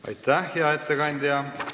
Aitäh, hea ettekandja!